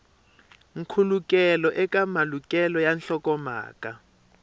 nkhulukelano eka malukelo ya nhlokomhaka